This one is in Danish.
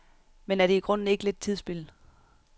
Men er det i grunden ikke lidt tidsspilde?